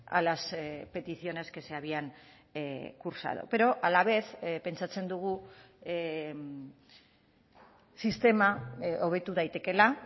a las peticiones que se habían cursado pero a la vez pentsatzen dugu sistema hobetu daitekeela